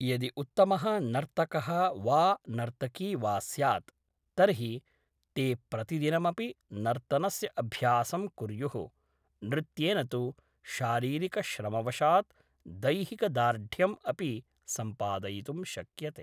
यदि उत्तमः नर्तकः वा नर्तकी वा स्यात् तर्हि ते प्रतिदिनमपि नर्तनस्य अभ्यासं कुर्युः नृत्येन तु शारीरिकश्रमवशात् दैहिकदार्ढ्यम् अपि सम्पादयितुं शक्यते